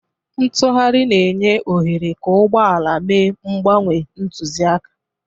Ntugharị na-enye ohere ka ụgbọ ala mee mgbanwe ntụzịaka.